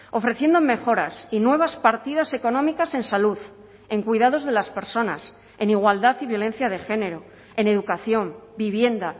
ofreciendo mejoras y nuevas partidas económicas en salud en cuidados de las personas en igualdad y violencia de género en educación vivienda